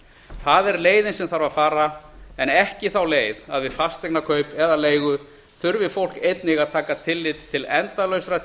það er leiðin sem þarf að fara en ekki þá leið að við fasteignakaup eða leigu þurfi fólk einnig að taka tilliti til endalausra